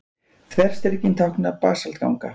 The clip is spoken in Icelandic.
Þverstrikin tákna basaltganga.